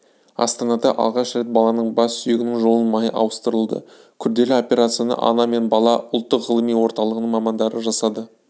астанада алғаш рет баланың бас сүйегінің жұлын майы ауыстырылды күрделі операцияны ана мен бала ұлттық ғылыми орталығының мамандары жасады